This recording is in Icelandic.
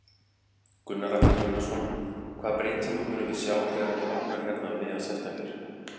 Gunnar Atli Gunnarsson: Hvaða breytingu munum við sjá þegar þetta opnar hérna um miðjan september?